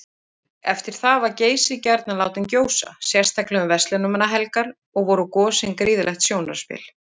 Eftir það var Geysir gjarnan látinn gjósa, sérstaklega um verslunarmannahelgar, og voru gosin gríðarlegt sjónarspil.